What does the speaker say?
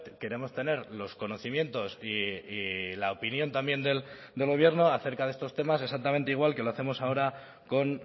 queremos tener los conocimientos y la opinión también del gobierno acerca de estos temas exactamente igual que lo hacemos ahora con